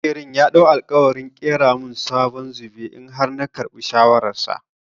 Maƙerin ya ɗau alƙawarin ƙera min sabon zobe in har na karɓi shawarar sa.